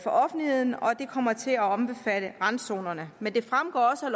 offentligheden kommer til at omfatte randzonerne men det fremgår også af